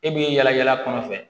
E b'i yala yala kɔnɔ fɛ